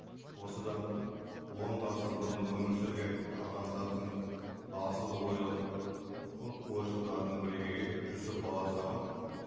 осыдан он ғасыр бұрын өмір сүрген адамзаттың асыл ойлы ы ойшылдарының бірегейі жұсіп баласағұн